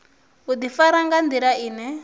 u ḓifara nga nḓila ine